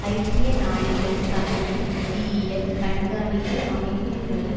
ஐக்கிய நாடுகள் சபையின் நிதியியல் கண்காணிப்பு அமைப்பின்படி